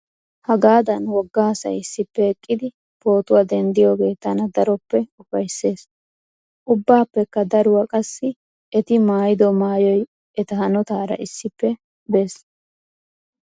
Hagaadan wogga asayi issippe eqqidi pootuwaa denddiyooge tana daroppe upayisses. ubbaappekka daruwaa qassi eti maayyido maayyoyi eta haanotaara issippe bes